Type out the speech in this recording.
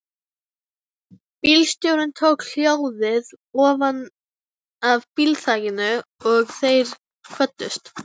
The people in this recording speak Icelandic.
Bílstjórinn tók hjólið ofanaf bílþakinu og þeir kvöddust.